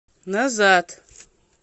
назад